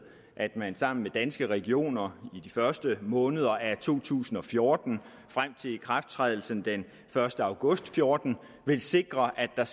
at man sammen med danske regioner i de første måneder af to tusind og fjorten frem til ikrafttrædelsen den første august og fjorten vil sikre at der